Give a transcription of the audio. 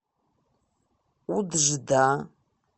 уджда